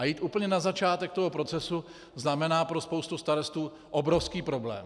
A jít úplně na začátek toho procesu znamená pro spoustu starostů obrovský problém.